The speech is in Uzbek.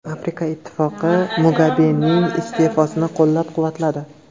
Afrika Ittifoqi Mugabening iste’fosini qo‘llab-quvvatladi.